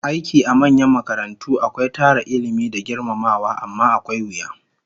Aiki a manyan makarantu akwai tara Ilmi da girmamawa, amma akwai wuya